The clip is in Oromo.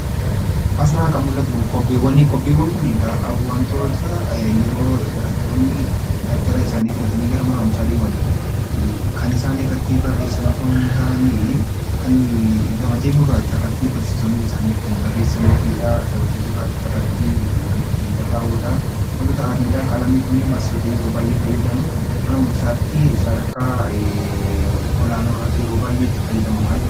Asirraa kan mul'atu kobbeewwani. Kobbeewwan kun egaa wantoota yeroo barattoonni dabtara isaanii fudhatanii mana barumsaa deeman kan isaan irratti barreessan osoo hin taane kan gabatee gurraacharratti barsiisonni isaanii ittiin barreessaniifidha. Gabatee gurraacharratti kan ittiin barraa'udha. Wantoota akka qalamii kun mana barumsaatti fayyadamna. Mana barumsaatti sadarkaa olaanoorratti yeroo baay'ee itti fayyadamama jechuudha.